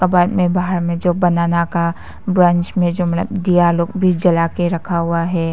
और बाद में बाहर में जो बनाना का ब्रांच में जो मतलब दिया लोग भी जला के रखा हुआ है।